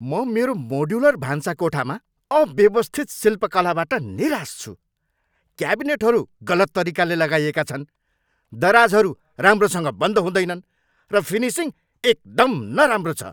म मेरो मोड्युलर भान्साकोठामा अव्यवस्थित शिल्पकलाबाट निराश छु। क्याबिनेटहरू गलत तरिकाले लगाइएका छन्, दराजहरू राम्रोसँग बन्द हुँदैनन्, र फिनिसिङ एकदम नराम्रो छ।